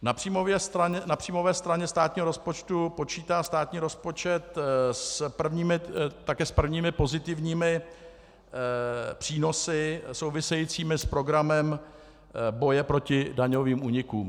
Na příjmové straně státního rozpočtu počítá státní rozpočet také s prvními pozitivními přínosy souvisejícími s programem boje proti daňovým únikům.